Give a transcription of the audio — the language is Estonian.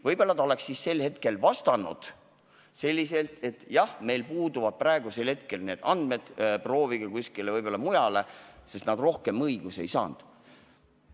Võib-olla nad oleks siis sel hetkel vastanud sedasi, et jah, meil puuduvad praegu need andmed, proovige kuskilt mujalt küsida, sest nad rohkem õigusi ei saanud.